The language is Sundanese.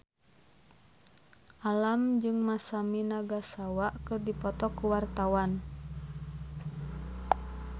Alam jeung Masami Nagasawa keur dipoto ku wartawan